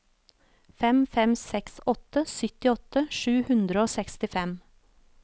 fem fem seks åtte syttiåtte sju hundre og sekstifem